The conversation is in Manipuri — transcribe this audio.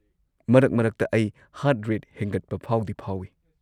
ꯃꯔꯛ ꯃꯔꯛꯇ, ꯑꯩ ꯍꯥꯔꯠ ꯔꯦꯠ ꯍꯦꯟꯒꯠꯄ ꯐꯥꯎꯗꯤ ꯐꯥꯎꯏ꯫